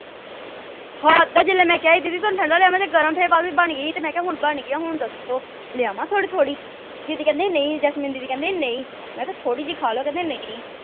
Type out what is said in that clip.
ਹੱਦ ਏ ਜਦੋਂ ਮੈਂ ਕਿਹਾ ਸੀ ਦੀਦੀ ਥੋਨੂੰ ਮੈਂ ਠੰਡਾ ਲਿਆਵਾਂ ਜਾ ਗਰਮ ਬਣ ਗਈ ਤੇ ਹੁਣ ਬਣ ਗਈ ਆ ਹੁਣ ਦੱਸੋ ਲਿਆਵਾਂ ਥੋੜੀ ਥੋੜੀ ਦੀਦੀ ਕਹਿੰਦੇ ਨਹੀਂ ਜੈਸਮੀਨ ਦੀਦੀ ਕਹਿੰਦੇ ਨਹੀਂ ਮੈਂ ਕਿਹਾ ਥੋੜੀ ਜਿਹੀ ਖਾ ਲੋ ਕਹਿੰਦੇ ਨਹੀਂ